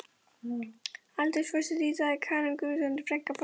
Aldursforseti í dag er Karen Guðmundsdóttir, frænka forsetans.